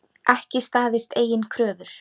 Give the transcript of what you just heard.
Ekki staðist eigin kröfur.